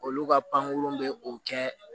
Olu ka pankurun bɛ o kɛ